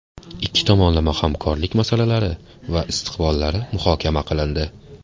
Ikki tomonlama hamkorlik masalalari va istiqbollari muhokama qilindi.